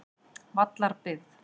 Vallarbyggð